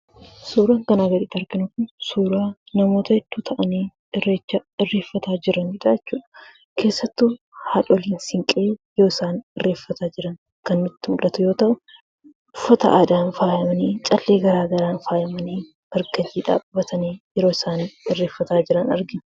Suuraan kanaa gaditti arginu kun, suuraa namoota hedduu ta'anii, irreecha irreeffataa jiranidha jechuudha. Keessattuu haadholiin siinqee yoo isaan irreeffataa jiran kan nutti mul'atu yoo ta'an, uffata aadaan faayamanii, callee garagaraan faayamanii, marga jiidhaa qabatanii yeroo isaan irreeffataa jiran argina.